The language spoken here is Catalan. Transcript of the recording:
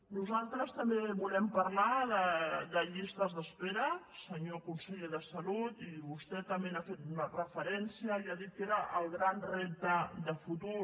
nosaltres també volem parlar de llistes d’espera senyor conseller de salut i vostè també hi ha fet una referència i ha dit que era el gran repte de futur